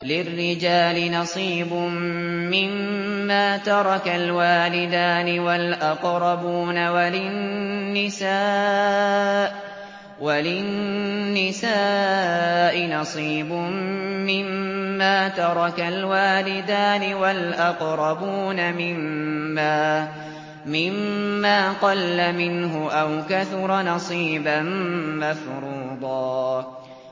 لِّلرِّجَالِ نَصِيبٌ مِّمَّا تَرَكَ الْوَالِدَانِ وَالْأَقْرَبُونَ وَلِلنِّسَاءِ نَصِيبٌ مِّمَّا تَرَكَ الْوَالِدَانِ وَالْأَقْرَبُونَ مِمَّا قَلَّ مِنْهُ أَوْ كَثُرَ ۚ نَصِيبًا مَّفْرُوضًا